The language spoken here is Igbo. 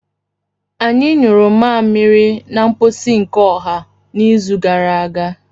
Anyị nyuru mmamịrị na mposi nke ọha n'izu gara aga.